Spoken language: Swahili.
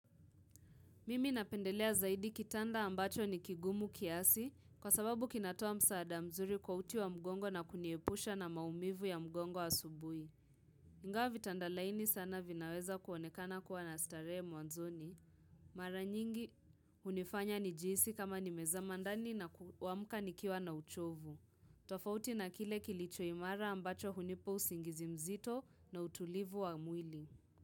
Mimi napendelea zaidi kitanda ambacho ni kigumu kiasi kwa sababu kinatoa msaada mzuri kwa uti wa mgongo na kuniepusha na maumivu ya mgongo asubuhi. Ingawa vitanda laini sana vinaweza kuonekana kuwa na starehe mwanzoni. Mara nyingi hunifanya nijihisi kama nimezama ndani na kuamka nikiwa na uchovu. Tofauti na kile kilichoimara ambacho hunipa usingizi mzito na utulivu wa mwili.